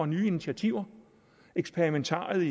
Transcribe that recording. nye initiativer eksperimentariet